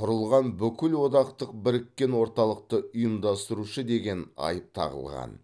құрылған бүкілодақтық біріккен орталықты ұйымдастырушы деген айып тағылған